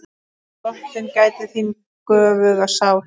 Drottin gæti þín göfuga sál.